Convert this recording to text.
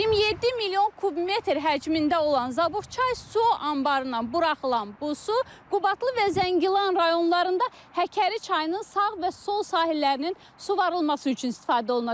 27 milyon kubmetr həcmində olan Zabuxçay su anbarından buraxılan bu su Qubadlı və Zəngilan rayonlarında Həkəri çayının sağ və sol sahillərinin suvarılması üçün istifadə olunacaq.